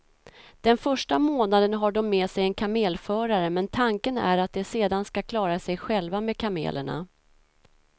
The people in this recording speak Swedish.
Den första månaden har de med sig en kamelförare men tanken är att de sedan ska klara sig själva med kamelerna.